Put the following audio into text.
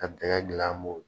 Ka dɛgɛ dilan an bon.